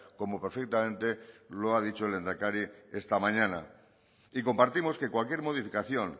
como perfectamente lo ha dicho el lehendakari esta mañana y compartimos que cualquier modificación